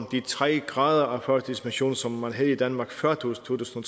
de tre grader af førtidspension som man havde i danmark før to tusind